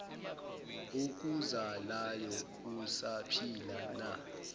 okuzalayo usaphila na